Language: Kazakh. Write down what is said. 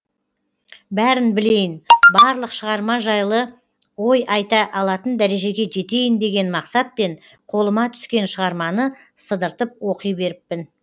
бәрін білейін барлық шығарма жайлы ой айта алатын дәрежеге жетейін деген мақсатпен қолыма түскен шығарманы сыдыртып оқи беріппін